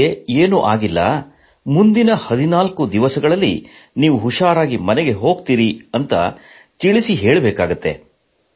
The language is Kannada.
ಅವರಿಗೆ ಏನೂ ಆಗಿಲ್ಲ ಮುಂದಿನ 14 ದಿನಗಳಲ್ಲಿ ನೀವು ಹುμÁರಾಗಿ ಮನೆಗೆ ಹೋಗುತ್ತೀರಿ ಎಂದು ತಿಳಿ ಹೇಳಬೇಕಾಗುತ್ತದೆ